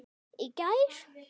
Í gær?